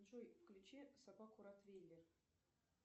джой включи собаку ротвейлер